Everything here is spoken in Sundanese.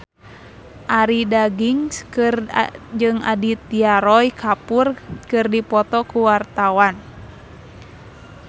Arie Daginks jeung Aditya Roy Kapoor keur dipoto ku wartawan